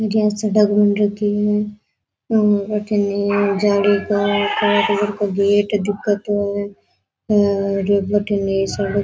और अठीने जाली का का गेट दिखे तो है और बठीने एक सड़क --